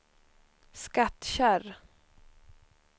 Skattkärr